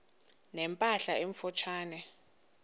ne mpahla emfutshane